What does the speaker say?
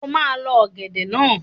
O máa Lọ ọ̀gẹ̀dẹ̀ naa